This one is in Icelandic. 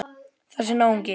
Þessi náungi.